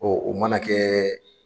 Ɔ o mana kɛɛɛ.